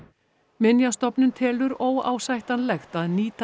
minjastofnun telur óásættanlegt að nýta